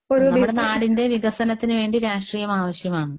നമ്മുടെ നാടിന്റെ വികസനത്തിന് വേണ്ടി രാഷ്ട്രീയം ആവശ്യമാണ്.